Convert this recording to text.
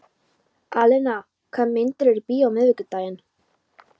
Alena, hvaða myndir eru í bíó á miðvikudaginn?